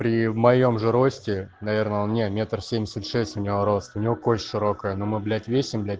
при в моем же росте наверное он не метр семьдесят шесть у него рост у него кость широкая но мы блять весим блять